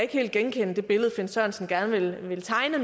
kan genkende det billede herre finn sørensen gerne vil tegne